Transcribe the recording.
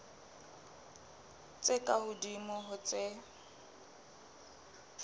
tse ka hodimo ho tse